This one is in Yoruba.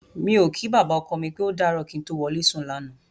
Mi ò kí bàbá ọkọ mi pé ó dàárọ̀ kí n tó wọlé sùn lánàá.